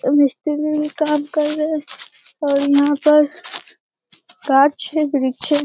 और मिस्त्री भी काम कर रहे है और यहाँ पर पाँच छह वृक्ष हैं।